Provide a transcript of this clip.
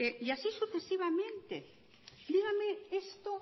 y así sucesivamente dígame esto